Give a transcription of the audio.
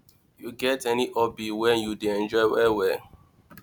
you get any hobby wey you dey enjoy well well